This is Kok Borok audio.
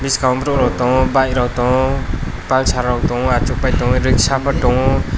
biskang borok tongo bikerok tongo pulsarrok tongo achuk pai tongo riksaw rok pho tongo.